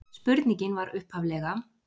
Spurningin var upphaflega: